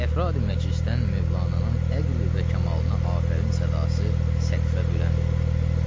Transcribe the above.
Əfradi məclisdən Mövlananın əqli və kamalına afərin sədası səqfə bülənd oldu.